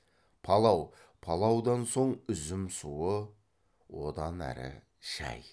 палау палаудан соң үзім суы одан әрі шәй